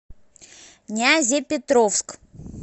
нязепетровск